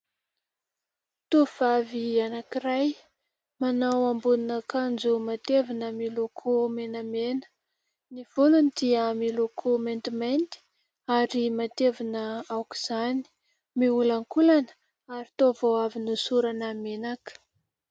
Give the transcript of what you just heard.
Tovovavy anankiray manao ambonin'akanjo matevina miloko menamena ; ny volony dia miloko maintimainty, ary matevina aok'izany, miolankolana, ary toa vao avy nosorana menaka.